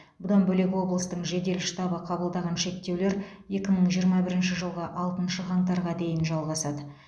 бұдан бөлек облыстың жедел штабы қабылдаған шектеулер екі мың жиырма бірінші жылғы алтыншы қаңтарға дейін жалғасады